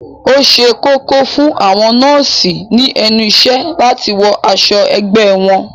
Ó ṣe kókó fún àwọn nọ́ọ̀sì ní ẹnu ìṣẹ́ láti wọ aṣọ ẹgbẹ́ wọn